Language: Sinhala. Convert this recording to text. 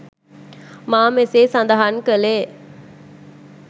මා මෙසේ සඳහන් කළේ